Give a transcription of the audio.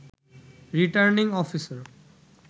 returning officer